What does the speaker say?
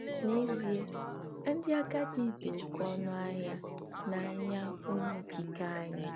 N'ezie, ndị agadi dị oké ọnụ ahịa n'anya Onye Okike anyị.